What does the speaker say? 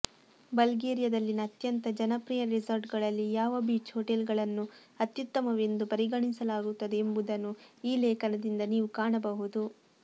ಬಲ್ಗೇರಿಯದಲ್ಲಿನ ಅತ್ಯಂತ ಜನಪ್ರಿಯ ರೆಸಾರ್ಟ್ಗಳಲ್ಲಿ ಯಾವ ಬೀಚ್ ಹೋಟೆಲ್ಗಳನ್ನು ಅತ್ಯುತ್ತಮವೆಂದು ಪರಿಗಣಿಸಲಾಗುತ್ತದೆ ಎಂಬುದನ್ನು ಈ ಲೇಖನದಿಂದ ನೀವು ಕಾಣಬಹುದು